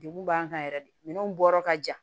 Degun b'an kan yɛrɛ de minɛnw bɔyɔrɔ ka jan